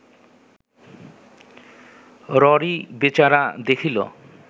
ররী বেচারা দেখিল